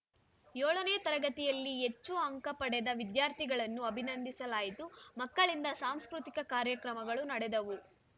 ಏಳನೇ ತರಗತಿಯಲ್ಲಿ ಹೆಚ್ಚು ಅಂಕ ಪಡೆದ ವಿದ್ಯಾರ್ಥಿಗಳನ್ನು ಅಭಿನಂದಿಸಲಾಯಿತು ಮಕ್ಕಳಿಂದ ಸಾಂಸ್ಕೃತಿಕ ಕಾರ್ಯಕ್ರಮಗಳು ನಡೆದವು